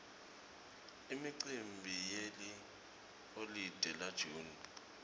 imicimbi yeliholide la june